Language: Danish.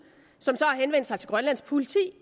som så har henvendt sig til grønlands politi